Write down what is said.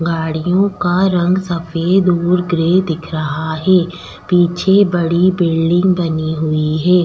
गाड़ियों का रंग सफेद और ग्रे दिख रहा है पीछे बड़ी बिल्डिंग बनी हुई है।